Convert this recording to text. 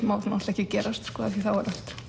má ekki gerast af því þá